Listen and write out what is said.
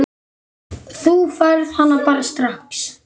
Þú færð hana bara strax.